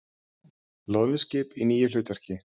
Loðnuskip í nýju hlutverki